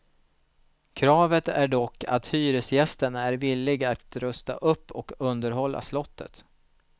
Kravet är dock att hyresgästen är villig att rusta upp och underhålla slottet.